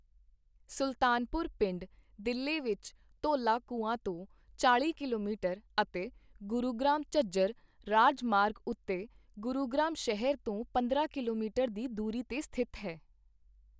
ਸੁਲਤਾਨਪੁਰ ਪਿੰਡ, ਦਿੱਲੀ ਵਿੱਚ ਧੌਲਾ ਕੂੰਆਂ ਤੋਂ ਚਾਲ਼ੀ ਕਿਲੋਮੀਟਰ ਅਤੇ ਗੁਰੂਗ੍ਰਾਮ ਝੱਜਰ ਰਾਜਮਾਰਗ ਉੱਤੇ ਗੁਰੂਗ੍ਰਾਮ ਸ਼ਹਿਰ ਤੋਂ ਪੰਦਰਾਂ ਕਿਲੋਮੀਟਰ ਦੀ ਦੂਰੀ 'ਤੇ ਸਥਿਤ ਹੈ।